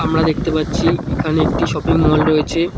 আমরা দেখতে পাচ্ছি এখানে একটা শপিং মল রয়েছে।